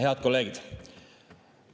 Head kolleegid!